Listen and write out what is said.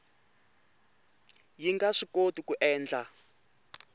yi nga swikoti ku endla